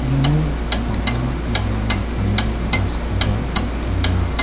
iano bang·a wagam natani bras koba nikenga.